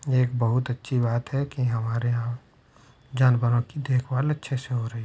ये एक बहुत अच्छी बात है की हमारे यहाँ जानवरों की देख भाल अच्छे से हो रही है ।